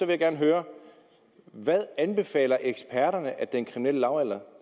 jeg gerne høre hvad anbefaler eksperterne at den kriminelle lavalder